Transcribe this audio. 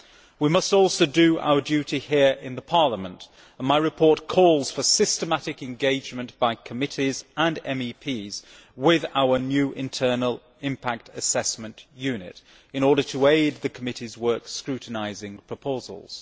We must also do our duty here in Parliament, and my report calls for systematic engagement by committees and MEPs with our new internal Impact Assessment Unit in order to aid the committees' work of scrutinising proposals.